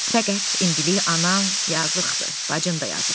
Fəqət indilik anam yazıqdır, bacın da yazıqdır.